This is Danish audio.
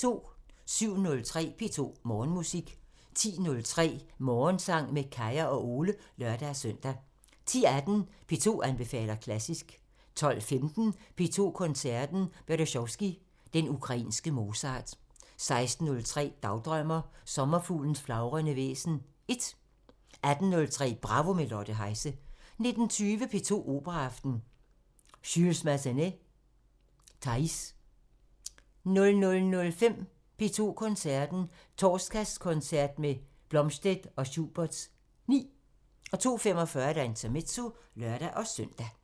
07:03: P2 Morgenmusik 10:03: Morgensang med Kaya og Ole (lør-søn) 10:18: P2 anbefaler klassisk 12:15: P2 Koncerten – Berezovskij – den ukrainske Mozart 16:03: Dagdrømmer: Sommerfuglens flagrende væsen 1 18:03: Bravo – med Lotte Heise 19:20: P2 Operaaften – Jules Massenet: Thaïs 00:05: P2 Koncerten – Torsdagskoncert med Blomstedt og Schuberts 9 02:45: Intermezzo (lør-søn)